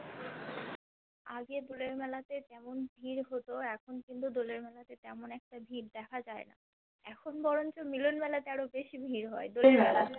আগে দোলের মেলাতে যেমন ভিড় হতো এখন কিন্তু দোলের মেলাতে তেমন একটা ভিড় দেখা যায় না এখন বরঞ্চ মিলন মেলাতে বেশি ভিড় হয় দোলের মেলা থেকে